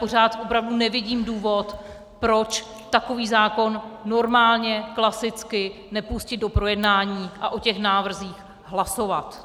Pořád opravdu nevidím důvod, proč takový zákon normálně klasicky nepustit do projednání a o těch návrzích hlasovat.